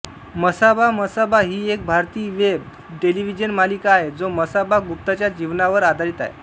मसाबा मसाबा ही एक भारतीय वेब टेलिव्हिजन मालिका आहे जो मसाबा गुप्ताच्या जीवनावर आधारित आहे